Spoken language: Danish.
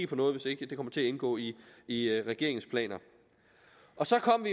på noget hvis ikke det kommer til at indgå i i regeringens planer så kom